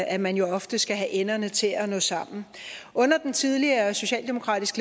at man jo ofte skal have enderne til at nå sammen under den tidligere socialdemokratisk